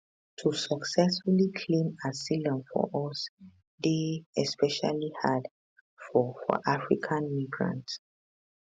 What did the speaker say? to successfully claim asylum for us dey especially hard for for african migrants